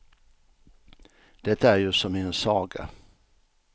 Det är ju som i en saga.